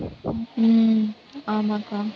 உம் ஆமாக்கா